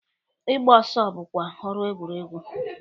Ịgba ọsọ bụkwa ọrụ egwuregwu.